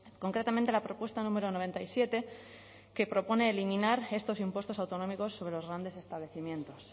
concretamente la propuesta número noventa y siete que propone eliminar estos impuestos autonómicos sobre los grandes establecimientos